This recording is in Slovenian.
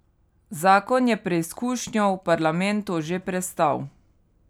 Zakon je preizkušnjo v parlamentu že prestal.